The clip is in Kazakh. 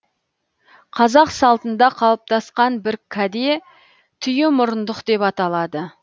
қазақ салтында қалыптасқан бір каде түйе мұрындық деп аталады